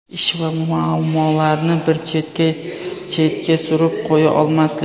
Ish va muammolarni bir chetga chetga surib qo‘ya olmaslik.